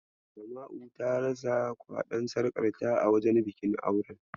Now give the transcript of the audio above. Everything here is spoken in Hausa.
Asma'u ta rasa kwaɗon sarƙar ta a wajen bikin auren.